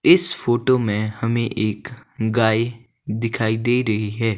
इस फोटो मे हमे एक गाय दिखाई दे रही है।